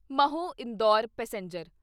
Mhow Indore passenger